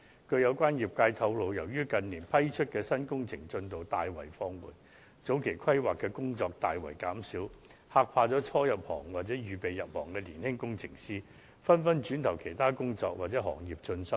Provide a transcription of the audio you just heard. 據相關業界透露，由於近年批出的新工程進度大為放緩，前期規劃的工作大為減少，嚇怕了初入行或打算入行的年輕工程師，他們紛紛轉投其他工作或是其他行業進修。